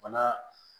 Bana